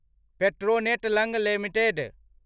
Petronet LNG limited